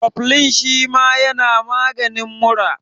Kofilin shima yana maganin mura